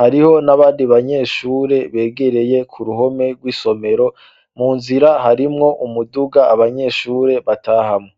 hariho n'abandi banyeshure begereye ku ruhome rw'isomero mu nzira harimwo umuduga abanyeshure batahamwe